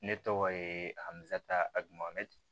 Ne tɔgɔ ye amisata adu mamɛ